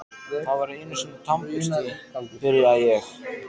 Það var einusinni tannbursti, byrja ég.